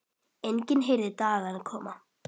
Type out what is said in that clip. Enginn heyrir dagana koma.